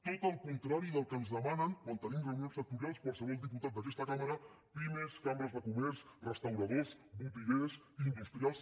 tot el contrari del que ens demanen quan tenim reunions sectorials qualsevol diputat d’aquest cambra pimes cambres de comerç restauradors botiguers industrials